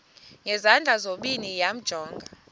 ngezandla zozibini yamjonga